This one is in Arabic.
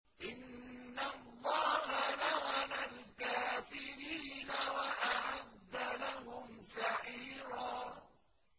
إِنَّ اللَّهَ لَعَنَ الْكَافِرِينَ وَأَعَدَّ لَهُمْ سَعِيرًا